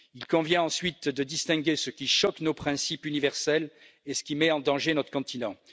Il convient ensuite de distinguer ce qui choque nos principes universels et ce qui met en danger notre continent.